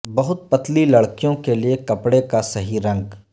بہت پتلی لڑکیوں کے لئے کپڑے کا صحیح رنگ